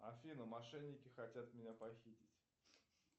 афина мошенники хотят меня похитить